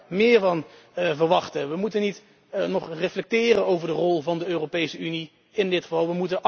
Ik zou daar meer van verwachten. We moeten niet nog maar eens reflecteren over de rol van de Europese Unie in dit geval.